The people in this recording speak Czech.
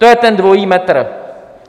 To je ten dvojí metr.